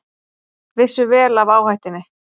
Vissu vel af áhættunni